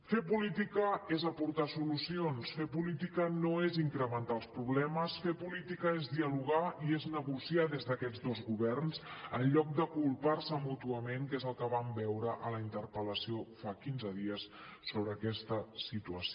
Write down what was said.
fer política és aportar solucions fer política no és incrementar els problemes fer política és dialogar i és negociar des d’aquests dos governs en lloc de culpar se mútuament que és el que vam veure en la interpel·lació fa quinze dies sobre aquesta situació